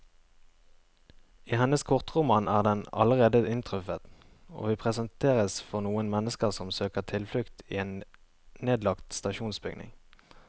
I hennes kortroman er den allerede inntruffet, og vi presenteres for noen mennesker som søker tilflukt i en nedlagt stasjonsbygning.